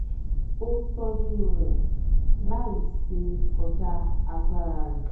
ó tọ́júú rẹ̀ láì ṣe kọjá agbára rẹ̀